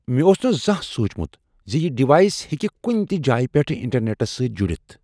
مےٚ اوس نہٕ زانٛہہ سوچمت ز یہ ڈیوائس ہیٚکہ کنہ تہ جایہ پیٹھٕ انٹرنیٹس سۭتۍ جڑتھ۔